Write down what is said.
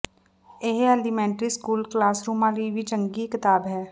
ਇਹ elementary school ਕਲਾਸਰੂਮਾਂ ਲਈ ਵੀ ਇੱਕ ਚੰਗੀ ਕਿਤਾਬ ਹੈ